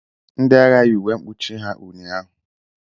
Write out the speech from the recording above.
Ndị agha yi uwe mkpuchi ha ụnyahụ.